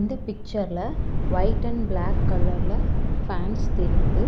இந்த பிக்சர்ல white and black கலர்ல ஃபேன்ஸ் தெரிது.